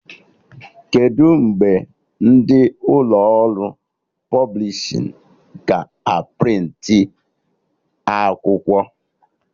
Kedụ mgbe ndị ụlọ ọrụ pọblishin ga a prịntị akwụkwọ?